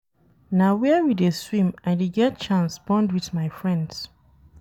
Na where we dey swim I dey get chance bond wit my friends.